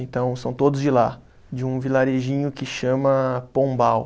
Então, são todos de lá, de um vilarejinho que chama Pombal.